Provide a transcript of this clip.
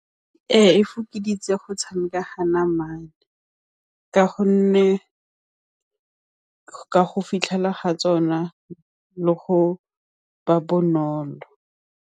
Ee, e fokoditse go tshameka ka namana ka gonne ka go fitlhela ga tsona le go ba bonolo.